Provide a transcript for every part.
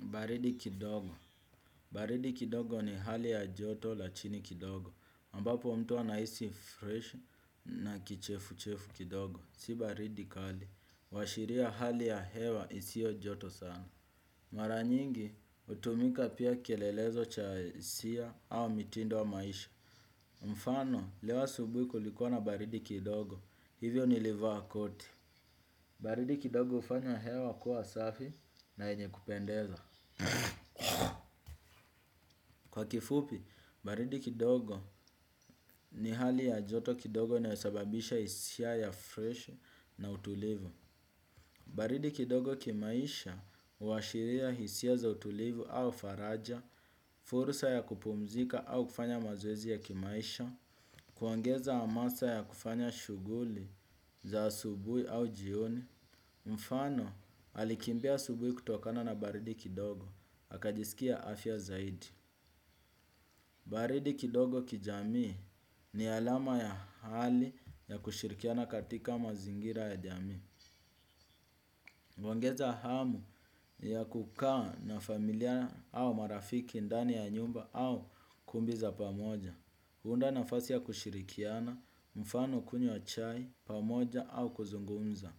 Baridi kidogo. Baridi kidogo ni hali ya joto la chini kidogo. Ambapo mtu anahisi freshi na kichefu-chefu kidogo. Si baridi kali. Huashiria hali ya hewa isio joto sana. Mara nyingi, hutumika pia kielelezo cha hisia au mitindo wa maisha. Mfano, leo asubuhi kulikuwa na baridi kidogo. Hivyo nili vaa koti. Baridi kidogo hufanya hewa kuwa safi na yenye kupendeza. Kwa kifupi, baridi kidogo ni hali ya joto kidogo inayo sababisha hisia ya freshi na utulivu. Baridi kidogo kimaisha huashiria hisia za utulivu au faraja, furusa ya kupumzika au kufanya mazoezi ya kimaisha, kuongeza amasa ya kufanya shughuli za asubuhi au jioni. Mfano, alikimbia asubuhi kutokana na baridi kidogo, akajisikia afya zaidi. Baridi kidogo kijamii ni alama ya hali ya kushirikiana katika mazingira ya jamii. Huongeza hamu ya kukaa na familia au marafiki ndani ya nyumba au kumbi za pamoja. Huu unda nafasi ya kushirikiana, mfano kunywa chai, pamoja au kuzungumza.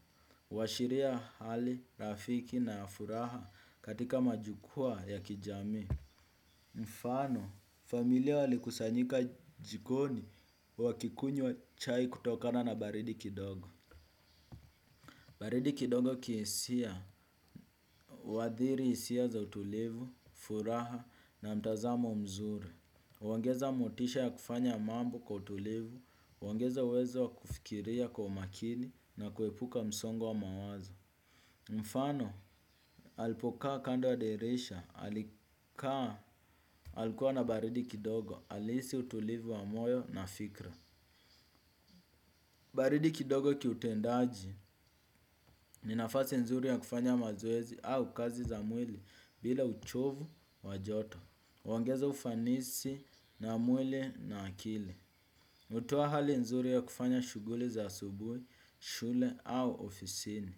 Huashiria hali, rafiki na ya furaha katika majukwa ya kijamii. Mfano, familia walikusanyika jikoni wakikunywa chai kutokana na baridi kidogo. Baridi kidogo kihisia, huadhiri hisia za utulivu, furaha na mtazamo mzuri. Huongeza motisha ya kufanya mambo kwa utulivu, huongeza uwezo wa kufikiria kwa umakini na kuepuka msongo wa mawazo. Mfano, alipokaa kando wa derisha, alikaa. Alikuwa na baridi kidogo, alihisi utulivu wa moyo na fikra. Baridi kidogo kiutendaji, ni nafasi nzuri ya kufanya mazoezi au kazi za mwili bila uchovu wajoto. Huongeza ufanisi na mwili na akili. Hutoa hali nzuri ya kufanya shughuli za asubuhi, shule au ofisini.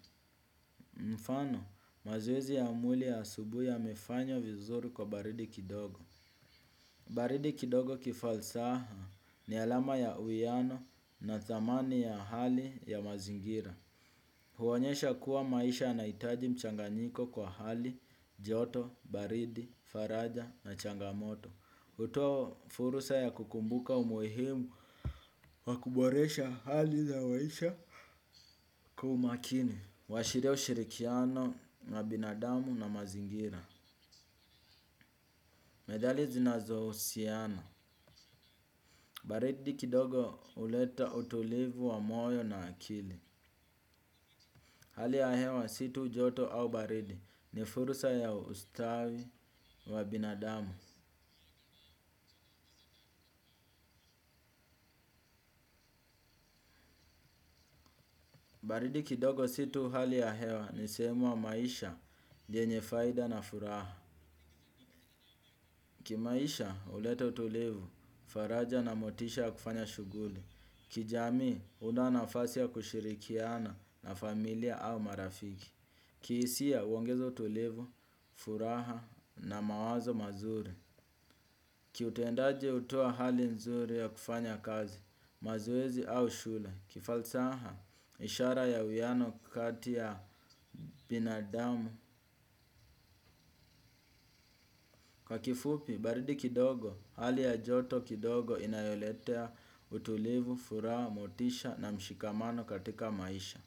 Mfano, mazoezi ya mwili ya asubuhi yamefanya vizuri kwa baridi kidogo. Baridi kidogo kifalsaha ni alama ya uwiano na thamani ya hali ya mazingira. Huonyesha kuwa maisha yanahitaji mchanganyiko kwa hali, joto, baridi, faraja na changamoto. Hutoa furusa ya kukumbuka umuhimu wa kuboresha hali za maisha kwa umakini. Wa shinda ushirikiano na binadamu na mazingira. Medhali zinazo husiana. Baridi kidogo huleta utulivu wa moyo na akili. Hali ya hewa situ joto au baridi ni furusa ya ustawi wa binadamu. Baridi kidogo si tu hali ya hewa ni sehemu wa maisha, jenye faida na furaha. Kimaisha uhleta utulivu, faraja na motisha kufanya shughuli. Kijamii huunda nafasi ya kushirikiana na familia au marafiki. Ki hisia huongeza utulivu, furaha na mawazo mazuri. Kiutuendaji hutoa hali nzuri ya kufanya kazi, mazoezi au shule. Kifalsaha ishara ya uwiano kati ya binadamu. Kwa kifupi, baridi kidogo, hali ya joto kidogo inayoletea utulivu, furaha, motisha na mshikamano katika maisha.